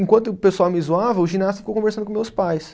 Enquanto o pessoal me zoava, o ginasta ficou conversando com meus pais.